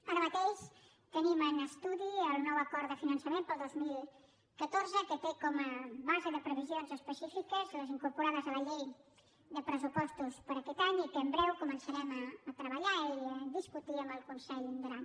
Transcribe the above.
ara mateix tenim en estudi el nou acord de finançament per al dos mil catorze que té com a base de previsions específiques les incorporades a la llei de pressupostos per a aquest any i que en breu començarem a treballar i a discutir amb el consell d’aran